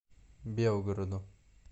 белгороду